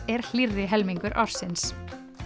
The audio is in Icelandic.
er hlýrri helmingur ársins